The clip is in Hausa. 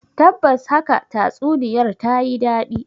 Tabbas haka tatsuniyar ta yi dadi.